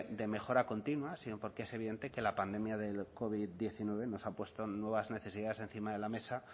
de mejora continua sino porque es evidente que la pandemia de la covid diecinueve nos ha puesto nuevas necesidades encima de la mesa